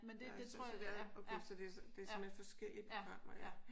Så så det er okay så det er simpelthen forskellige programmer ja